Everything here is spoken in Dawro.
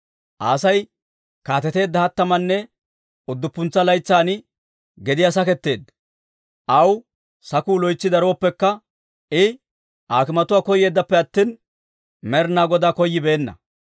Asay kaateteedda hattamanne udduppuntsa laytsan gediyaa saketteedda; aw sakku loytsi darooppekka, I aakimatuwaa koyeeddappe attina, Med'inaa Godaa koyyibeenna.